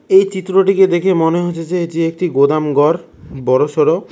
এই চিত্রটিকে দেখেই মনে হচ্ছে যে এটি একটি গোদাম ঘর বড়ো সরো।